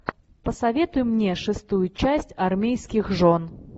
посоветуй мне шестую часть армейских жен